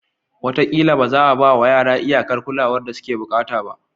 Wataƙila ba za a ba wa yara iyakar kulawar da suke buƙata ba.